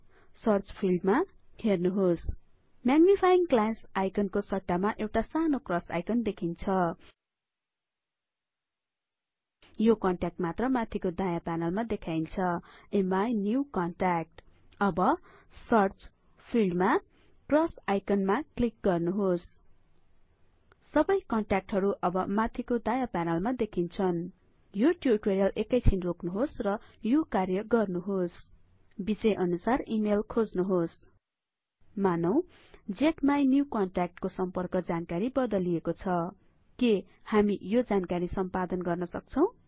search field हेर्नुहोस् magnifying glass आइकनको सट्टामा एउटा सानो क्रस आइकन देखिन्छ यो कन्ट्याक्टमात्र माथिको दायाँ प्यानलमा देखाइन्छ अमिन्युकन्ट्याक्ट अब सर्च फिल्डमा क्रस आइकनमा क्लिक गर्नुहोस सबै कन्ट्याक्टहरु अब माथिको दायाँ प्यानलमा देखिन्छन् यो ट्युटोरियल एकैछिन रोक्नुहोस् र यो कार्य गर्नुहोस् विषयअनुसार इमेल खोज्नुहोस् मानौं ज्माइकन्ट्याक्ट को सम्पर्क जानकारी बदलिएको छ के हामी यो जानकारी सम्पादन गर्न सक्छौं